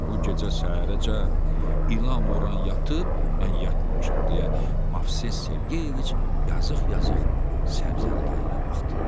Bu gecə səhərəcən ilan vuran yatıb, mən yatmamışam deyə Movses Sergeyeviç yazıq-yazıq Səbzəli dayıya baxdı.